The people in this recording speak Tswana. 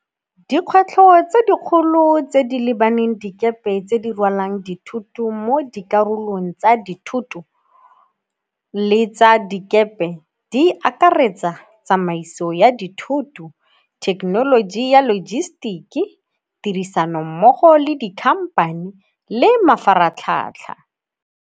Dikgwetlho tse dikgolo tse di lebaneng dikepe tse di rwalang dithoto mo dikarolong tsa dithoto le tsa dikepe di akaretsa tsamaiso ya dithoto, thekenoloji ya logistic-e, tirisano mmogo le di-company le mafaratlhatlha.